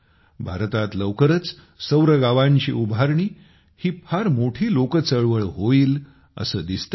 भारतात लवकरच सौरगावांची उभारणी ही फार मोठी लोकचळवळ होईल असे दिसते आहे